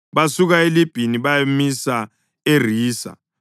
Basuka eLibhina bayamisa eRisa.